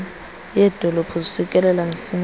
yedolophu zifikelela msinyane